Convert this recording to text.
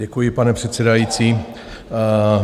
Děkuji, pane předsedající.